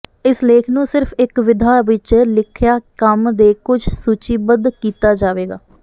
ਇਸ ਲੇਖ ਨੂੰ ਸਿਰਫ ਇਸ ਵਿਧਾ ਵਿੱਚ ਲਿਖਿਆ ਕੰਮ ਦੇ ਕੁਝ ਸੂਚੀਬੱਧ ਕੀਤਾ ਜਾਵੇਗਾ